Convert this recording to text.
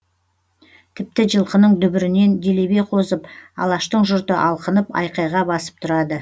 тіпті жылқының дүбірінен делебе қозып алаштың жұрты алқынып айқайға басып тұрады